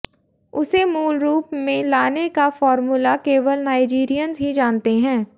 उसे मूल रूप में लाने का फार्मूला केवल नाइजीरियंस ही जानते हैं